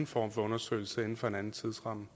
for en undersøgelse inden for den tidsramme